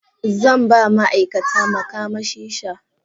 Zan ba ma'aikata makamashi sha.